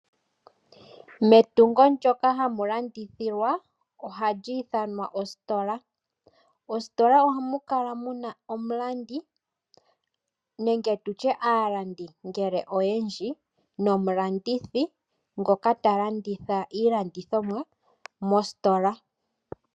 Metungo ndyoka ha mu landithilwa oha li ithanwa ositola. Mositola oha mu kala muna omulandi nenge tu tye aalandi ngele oyendji nomulandithi ngoka ta landitha iilandithomwa mositola.